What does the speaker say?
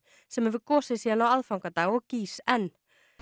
sem hefur gosið síðan á aðfangadag og gýs enn